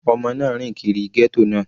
Ọmọ náà rìn kiri ghetto náà.